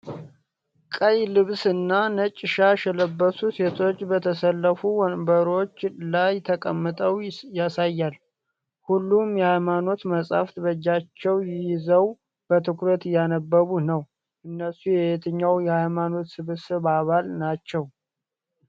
ቀይ ልብስ እና ነጭ ሻሽ የለበሱ ሴቶች በተሰለፉ ወንበሮች ላይ ተቀምጠው ያሳያል። ሁሉም የሃይማኖት መጻሕፍት በእጃቸው ይዘው በትኩረት እያነበቡ ነው። እነሱ የየትኛው የሃይማኖት ስብስብ አባል ናቸው?